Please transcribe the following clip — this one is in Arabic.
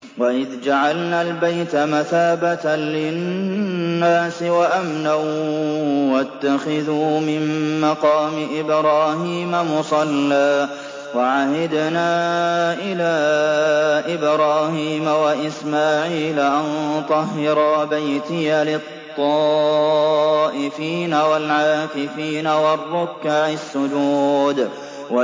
وَإِذْ جَعَلْنَا الْبَيْتَ مَثَابَةً لِّلنَّاسِ وَأَمْنًا وَاتَّخِذُوا مِن مَّقَامِ إِبْرَاهِيمَ مُصَلًّى ۖ وَعَهِدْنَا إِلَىٰ إِبْرَاهِيمَ وَإِسْمَاعِيلَ أَن طَهِّرَا بَيْتِيَ لِلطَّائِفِينَ وَالْعَاكِفِينَ وَالرُّكَّعِ السُّجُودِ